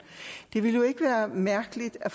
af